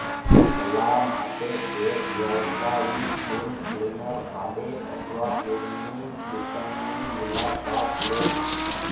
સલાહ માટે એક વ્યાવસાયિક પૂલ ક્લીનર ભાડે અથવા પૂલની દુકાનની મુલાકાત લેવી